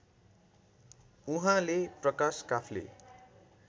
उहाँले प्रकाश काफ्ले